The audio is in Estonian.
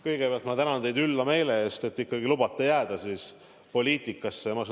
Kõigepealt ma tänan teid ülla suhtumise eest, et te ikkagi lubate mul jääda poliitikasse!